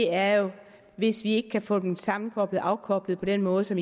er jo hvis vi ikke kan få dem sammenkoblet og afkoblet på den måde som